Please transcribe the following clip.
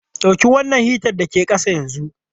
Dauki wannan hitan da ke ƙasa yanzu!